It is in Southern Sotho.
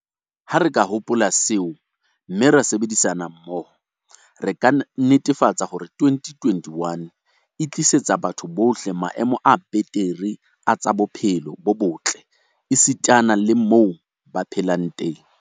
Ha re ka hopola seo, mme ra sebedisana mmoho, re ka netefatsa hore 2021 e tlisetsa batho bohle maemo a betere a tsa bophelo bo botle esitana le a moo ba phelang teng.